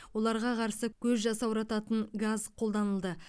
оларға қарсы көз жасаурататын газ қолданылды